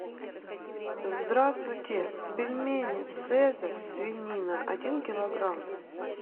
здравствуйте пельмени цезарь свинина один килограмм